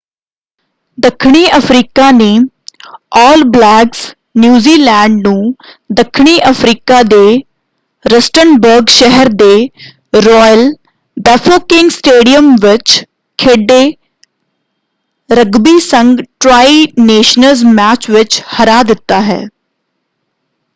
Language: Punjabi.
ਦੱਖਣੀ ਅਫ਼ਰੀਕਾ ਨੇ ਆਲ ਬਲੈਕਜ਼ ਨਿਊਜ਼ੀਲੈਂਡ ਨੂੰ ਦੱਖਣੀ ਅਫ਼ਰੀਕਾ ਦੇ ਰਸਟਨਬਰਗ ਸਹਿਰ ਦੇ ਰੋਇਲ ਬੈਫੋਕੇਂਗ ਸਟੇਡੀਅਮ ਵਿੱਚ ਖੇਡੇ ਰਗਬੀ ਸੰਘ ਟ੍ਰਾਈ ਨੇਸ਼ਨਜ਼ ਮੈਚ ਵਿੱਚ ਹਰਾ ਦਿੱਤਾ ਹੈ।